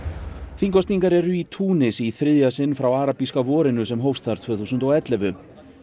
þingkosningar eru í Túnis í þriðja sinn frá arabíska vorinu sem hófst þar tvö þúsund og ellefu